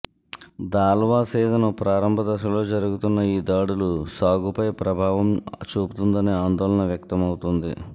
దాళ్వా season ప్రారంభ దశలో జరుగుతున్న ఈ దాడులు సాగుపై ప్రభావం చూపుతుందనే ఆందోళన వ్యక్తమవుతోంది